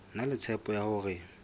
na le tshepo ya hore